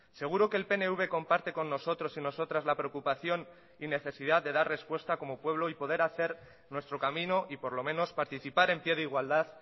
seguro que el pnv comparte con nosotros y nosotras la preocupación y necesidad de dar respuesta como pueblo y poder hacer nuestro camino y por lo menos participar en pie de igualdad